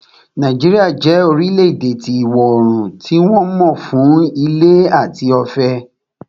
Nàìjíríà jẹ́ orílẹ̀-èdè ti ìwọ oorùn tí wọ́n mọ ń fún ilẹ̀ tí ó fẹ̀